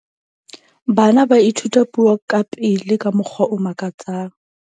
bana ba ithuta puo ka pele ka mokgwa o makatsang